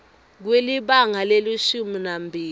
kwelibanga lelishumi nambili